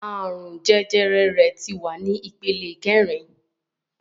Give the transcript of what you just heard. Àrùn jẹjẹrẹ rẹ̀ tí wà ní ìpele kẹrin